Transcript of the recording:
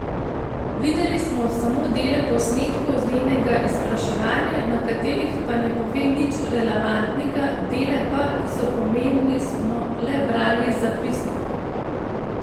Videli smo samo dele posnetkov z njenega izpraševanja, na katerih pa ne pove nič relevantnega, dele pa, ki so pomembni smo le brali iz zapisnikov.